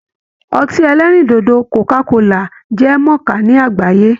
Ọtí ẹlẹ́rìndòdò Coca-cola jẹ́ mọ̀ọ́ká ní àgbáyé